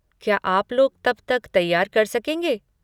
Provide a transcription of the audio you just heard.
क्या आप लोग तब तक तैयार कर सकेंगे?